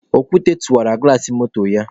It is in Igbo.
Okwute tụwara gụlas moto ya.